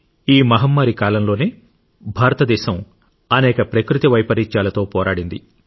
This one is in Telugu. ఈ మహమ్మారి కాలంలోనే భారతదేశం అనేక ప్రకృతి వైపరీత్యాలతో పోరాడింది